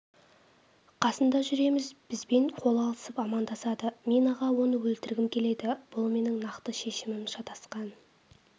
қасында жүреміз бізбен қол алысып амандасады мен аға оны өлтіргім келеді бұл менің нақты шешімім шатасқан